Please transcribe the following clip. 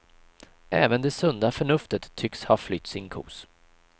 Även det sunda förnuftet tycks ha flytt sin kos.